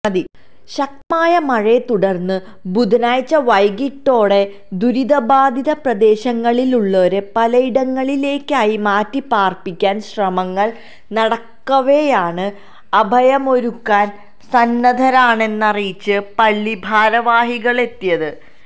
ശക്തമായ മഴയെ തുടര്ന്ന് ബുധനാഴ്ച വൈകീട്ടോടെ ദുരിതബാധിത പ്രദേശങ്ങളിലുള്ളരെ പലയിടങ്ങളിലേക്കായി മാറ്റിപ്പാര്പ്പിക്കാന് ശ്രമങ്ങള് നടക്കവേയാണ് അഭയമൊരുക്കാന് സന്നദ്ധരാണെന്നറിയിച്ച് പള്ളി ഭാരവാഹികളെത്തിയത്